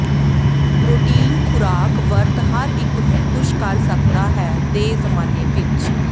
protein ਖੁਰਾਕ ਵਰਤ ਹਰ ਇੱਕ ਨੂੰ ਖੁਸ਼ ਕਰ ਸਕਦਾ ਹੈ ਦੇ ਜ਼ਮਾਨੇ ਵਿਚ